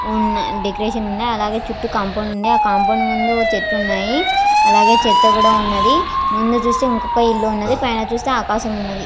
ఉన్న డెకొరేషన్ ఉంది . అలాగే చుట్టూ కాంపౌండ్ ఉన్నది ఆ కాంపౌండ్ ముందు చెట్లు ఉన్నాయి అలాగే చేత ఉన్నది ముందు చూస్తే ఇంకో ఇల్లు ఉన్నది పైన చూస్తే ఆకాశం ఉన్నది .